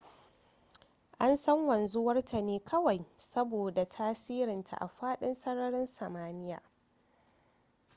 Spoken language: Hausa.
an san wanzuwar ta ne kawai saboda tasirinta a fadin sararin samaniya